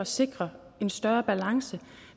at sikre en større balance